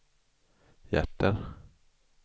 hjärter